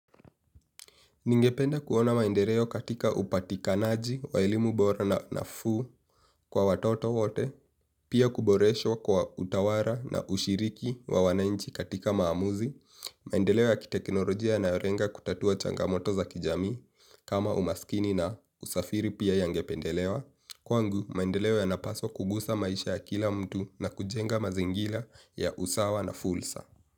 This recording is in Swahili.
Ningependa kuona maendeleo katika upatikanaji wa elimu bora nafuu kwa watoto wote, pia kuboreshwa kwa utawara na ushiriki wa wanainchi katika maamuzi. Maendeleo ya kiteknolojia na yorenga kutatua changamoto za kijamii kama umaskini na usafiri pia yangependelewa. Kwangu, maendeleo ya napaswa kugusa maisha ya kila mtu na kujenga mazingila ya usawa na fulsa.